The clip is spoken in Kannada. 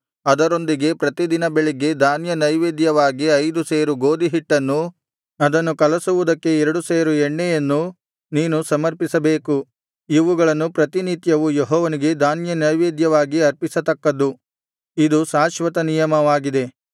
ಅದರೊಂದಿಗೆ ಪ್ರತಿ ದಿನ ಬೆಳಗ್ಗೆ ಧಾನ್ಯ ನೈವೇದ್ಯವಾಗಿ ಐದು ಸೇರು ಗೋದಿಹಿಟ್ಟನ್ನೂ ಅದನ್ನು ಕಲಸುವುದಕ್ಕೆ ಎರಡು ಸೇರು ಎಣ್ಣೆಯನ್ನೂ ನೀನು ಸಮರ್ಪಿಸಬೇಕು ಇವುಗಳನ್ನು ಪ್ರತಿನಿತ್ಯವೂ ಯೆಹೋವನಿಗೆ ಧಾನ್ಯನೈವೇದ್ಯವಾಗಿ ಅರ್ಪಿಸತಕ್ಕದ್ದು ಇದು ಶಾಶ್ವತ ನಿಯಮವಾಗಿದೆ